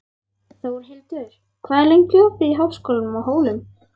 Þórlindur, hvað er lengi opið í Háskólanum á Hólum?